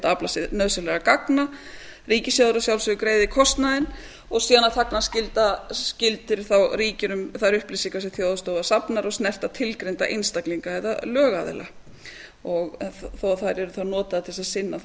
aflað sér nauðsynlegra gagna ríkissjóður að sjálfsögðu greiðir kostnaðinn og síðan er þagnarskylda sem þá ríkir um þær upplýsingar sem þjóðhagsstofa safnar og snerta tilgreinda einstaklinga eða lögaðila þó að þær yrðu þá notaðar til þess að sinna þá